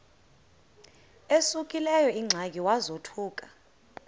esekuleyo ingxaki wazothuka